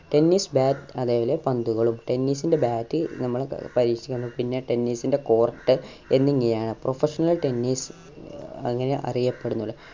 tennis bat അവയിലെ പന്തുകളും tennis ന്റെ bat നമ്മളെ പിന്നെ tennis ന്റെ court എന്നിങ്ങനെ ആണ് professionaltennis അങ്ങനെ അറിയപ്പെടുന്നുള്ളു